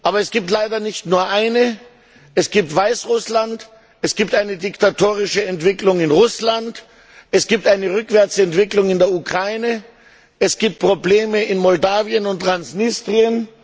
Aber es gibt leider nicht nur eine, es gibt Weißrussland, es gibt eine diktatorische Entwicklung in Russland, es gibt eine Rückwärtsentwicklung in der Ukraine, es gibt Probleme in Moldawien und Transnistrien.